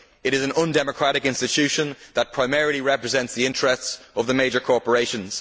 It is an undemocratic institution that primarily represents the interests of the major corporations.